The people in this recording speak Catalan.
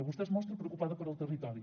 vostè es mostra preocupada pel territori